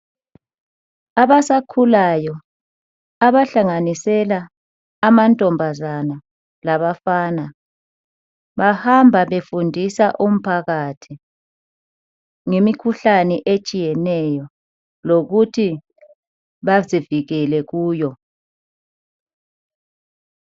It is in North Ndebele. Abasakhulayo abahlanganisela amantombazana labafana, bahamba befundisa umphakathi ngemikhuhlane etshiyeneyo lokuthi bazivikele kuyo.